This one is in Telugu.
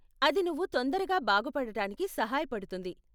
అది నువ్వు తొందరగా బాగుపడటానికి సహాయపడుతుంది.